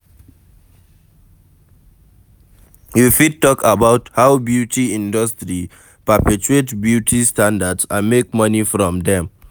You fit talk about how beauty industry perpetuate beauty standards and makes money from dem